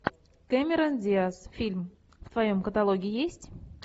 кэмерон диас фильм в твоем каталоге есть